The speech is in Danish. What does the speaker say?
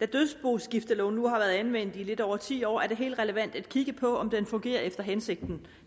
da dødsboskifteloven nu har været anvendt i lidt over ti år er det helt relevant at kigge på om den fungerer efter hensigten